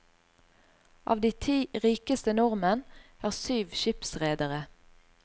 Av de ti rikeste nordmenn, er syv skipsredere.